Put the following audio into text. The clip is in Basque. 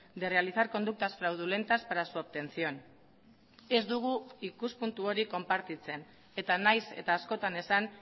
de realizar conductas fraudulentas para su obtención ez dugu ikuspuntu hori konpartitzen eta nahiz eta askotan esan